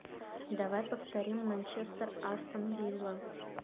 давай повторим манчестер астон вилла